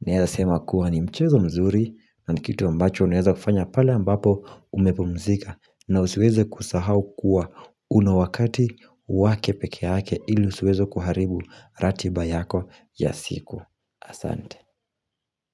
naeza sema kuwa ni mchezo mzuri, na nikitu ambacho unaweza kufanya pale ambapo umepumzika, na usiweze kusahau kuwa unawakati wakepekeake ili usiweze kuharibu ratiba yako ya siku. Asante.